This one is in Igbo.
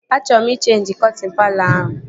Achọọ m ị cheenji kọtịn palọ ahụ